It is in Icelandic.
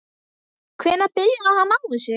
Hvenær byrjaði hann á þessu?